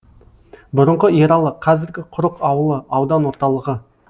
бұрынғы ералы қазіргі құрық ауылы аудан орталығы